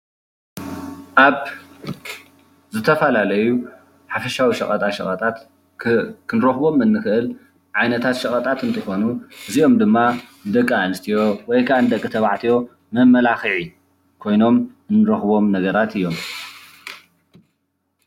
ኣብ ዝተፈላለዩ ሓፈሻዊ ሸቐጣሸቐጣት ክንረኽቦም እንኽእል ዓይነታት ሸቀጣት እንትኾኑ እዚኦም ድማ ንደቂ ኣንስትዮ ወይ ከኣ ንደቂ ተባዕትዮ መመላኽዒ ኮይኖም ንረኽቦም ነገራት እዮም፡፡